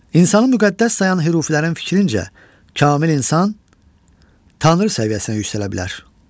İnsanı müqəddəs sayan hürufilərin fikrincə kamil insan Tanrı səviyyəsinə yüksələ bilər.